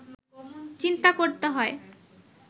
চিন্তা করতে হয়